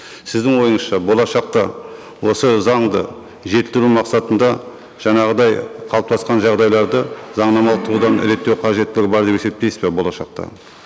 сіздің ойыңызша болашақта осы заңды жетілдіру мақсатында жаңағыдай қалыптасқан жағдайларды заңнамалық тұрғыдан реттеу қажеттігі бар деп есептейсіз бе болашақта